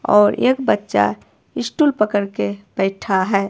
और एक बच्चा स्टूल पकड़ के बैठा है।